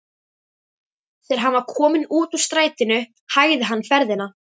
Þegar hann var kominn út úr strætinu hægði hann ferðina.